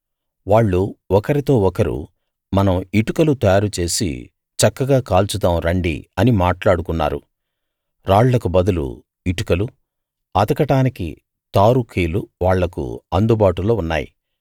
వాళ్ళు ఒకరితో ఒకరు మనం ఇటుకలు తయారు చేసి చక్కగా కాల్చుదాం రండి అని మాట్లాడుకున్నారు రాళ్ళకు బదులు ఇటుకలు అతకడానికి తారు కీలు వాళ్లకు అందుబాటులో ఉన్నాయి